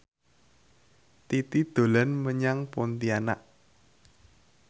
Titi dolan menyang Pontianak